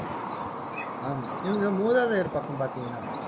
ஆஹ் இவங்க மூதாதையர் பக்கம் பாத்தீங்கன்னா